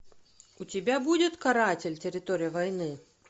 у тебя будет каратель территория войны